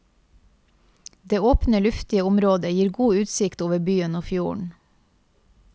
Det åpne, luftige området gir god utsikt over byen og fjorden.